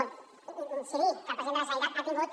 o incidir que el president de la generalitat ha tingut